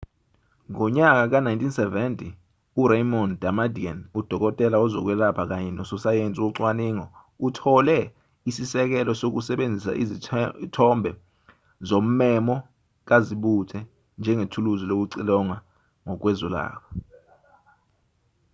ngonyaka ka-1970 uraymond damadian udokotela wezokwelapha kanye nososayensi wocwaningo uthole isisekelo sokusebenzisa izithombe zommemo kazibuthe njengethuluzi lokucilonga kwezokwelapha